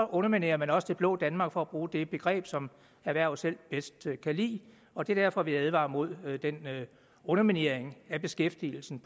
underminerer man også det blå danmark for at bruge det begreb som erhvervet selv bedst kan lide og det er derfor vi advarer mod den underminering af beskæftigelsen